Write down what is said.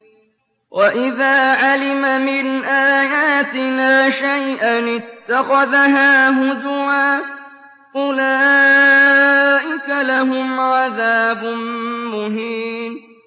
وَإِذَا عَلِمَ مِنْ آيَاتِنَا شَيْئًا اتَّخَذَهَا هُزُوًا ۚ أُولَٰئِكَ لَهُمْ عَذَابٌ مُّهِينٌ